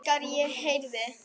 Þegar ég heyrði